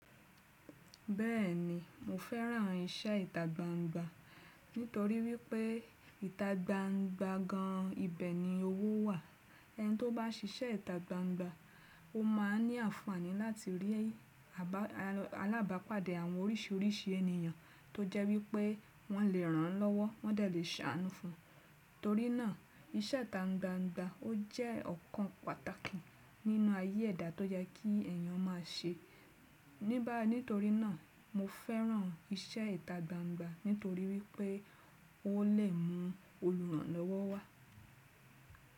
Bẹ́ẹ̀ni, mo fẹ́ràn iṣẹ́ ìtagbangba nítorí wípé ìtagbangba gan ibẹ̀ ni owó wà. Ẹni tó bá ṣiṣẹ́ ìtagbangba ó máa ní àǹfààní láti rí alábàápàdé àwọn oríṣiríṣi ènìyàn tó jẹ́ wípé wọ́n lè ràn án lọ́wọ́, wọ́n dàá lè ṣàánú fún un. Torí náà iṣẹ́ ìtagbangba ó jẹ́ ọ̀kan pàtàkì nínú ayé ẹ̀dá tó jẹ́ kí èèyàn máa ṣe. Níba nítorí náà, mo fẹ́ràn iṣẹ́ ìtagbangba nítorí wípé ó lè mú olùràn lọ́wọ́ wà.